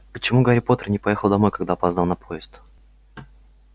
почему гарри поттер не поехал домой когда опоздал на поезд